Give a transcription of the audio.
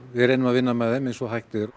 við reynum að vinna með þeim eins og hægt er